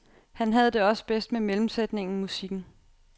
Han havde det også bedst med mellemsætningen, musikken.